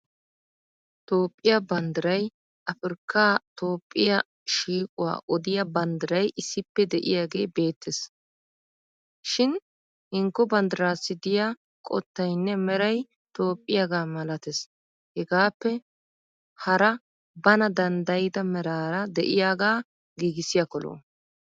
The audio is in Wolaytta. Toophphiya banddiray afirkkaa toophphiya shiiquwaa odiya banddiray issippe de'iyaagee beettes. Shin hinkko banddirassi diya qottaynne Meray toophphiyaagaa malatees hegaappe hara bana danddayida meraara de'iyaagaa giigissiyakko lo'o.